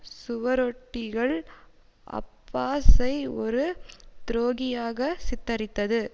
சுவரொட்டிகள் அப்பாஸை ஒரு துரோகியாக சித்தரித்தது